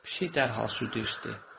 Pişik dərhal südü içdi.